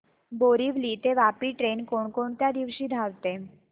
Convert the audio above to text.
बोरिवली ते वापी ट्रेन कोण कोणत्या दिवशी धावते